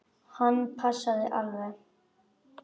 Hann passaði alveg.